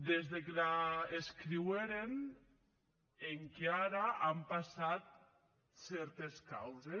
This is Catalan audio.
des que l’escriueren enquia ara an passat cèrtes causes